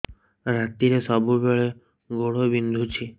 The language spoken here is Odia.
ରାତିରେ ସବୁବେଳେ ଗୋଡ ବିନ୍ଧୁଛି